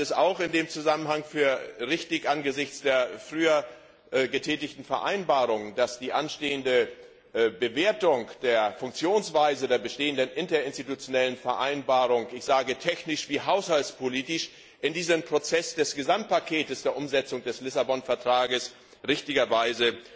Ich halte es in diesem Zusammenhang angesichts der früher getätigten Vereinbarung auch für richtig, dass die anstehende Bewertung der Funktionsweise der bestehenden Interinstitutionellen Vereinbarung, ich sage technisch wie haushaltspolitisch, in diesen Prozess des Gesamtpakets der Umsetzung des Lissabon Vertrags richtigerweise